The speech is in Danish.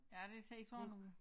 Ja det ser sådan ud